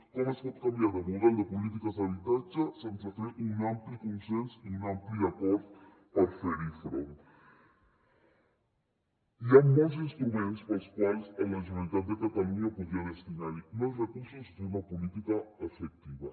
com es pot canviar de model de polítiques d’habitatge sense fer un ampli consens i un ampli acord per fer hi front hi han molts instruments pels quals la generalitat de catalunya podria destinar hi més recursos i fer una política efectiva